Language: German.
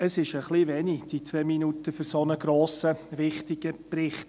Ich merke gerade, es ist etwas wenig, die zwei Minuten, für einen so grossen, wichtigen Bericht.